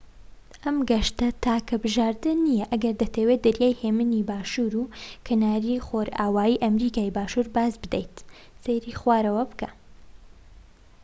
ئەم گەشتە تاکە بژاردە نیە ئەگەر دەتەوێت دەریای هێمنی باشور و کەناری خۆرئاوای ئەمریکای باشوور باز بدەیت. سەیری خوارەوە بکە